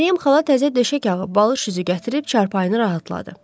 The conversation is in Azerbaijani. Məryəm xala təzə döşək ağı, balış üzü gətirib çarpayını rahatladı.